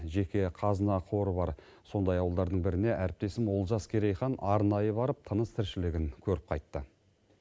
жеке қазына қоры бар сондай ауыдарының біріне әріптесім олжас керейхан арнайы барып тыныс тіршілігін көріп қайтты